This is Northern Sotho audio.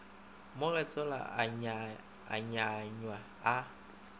mo getsola a nywanywa a